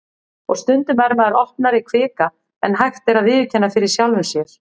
Og stundum er maður opnari kvika en hægt er að viðurkenna fyrir sjálfum sér.